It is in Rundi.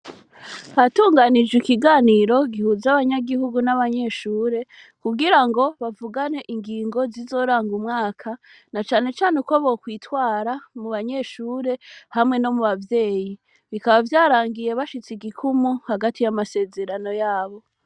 Hatunganijwe ikiganiro gihuza abanyagihugu n'abanyeshure kugira ngo bavugane ingingo zizoranga umwaka na canecane uko bokwitwara mu banyeshure hamwe no mu bavyeyi bikaba vyarangiye bashitse igikumu hagati y'amasezerano yabo.